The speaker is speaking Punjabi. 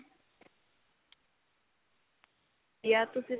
ਵਧੀਆ ਤੁਸੀਂ